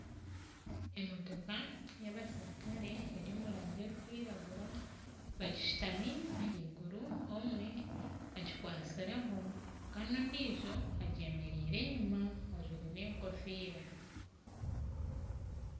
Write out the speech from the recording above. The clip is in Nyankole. Emotoka y'abaserukare eri omu rangi erikwiragura bagishutamire ahaiguru omwe agikwatsireho Kandi ondiijo agyemereire enyuma ajwaire enkofiira